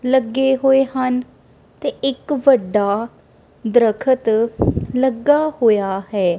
ਲੱਗੇ ਹੋਏ ਹਨ ਤੇ ਇੱਕ ਵੱਡਾ ਦਰਖਤ ਲੱਗਾ ਹੋਇਆ ਹੈ।